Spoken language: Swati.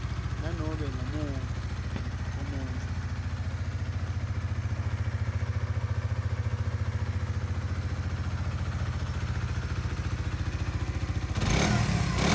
nanobe ngumuphi umuntfu